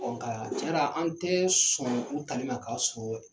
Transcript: ka tiɲɛna an tɛ sɔn u tali ma k'a sɔrɔ